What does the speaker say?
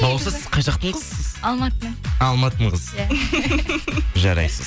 балауса сіз қай жақтың қызысыз алматының алматының қызысыз иә жарайсыз